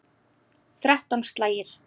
Þrettán slagir.